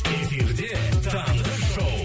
эфирде таңғы шоу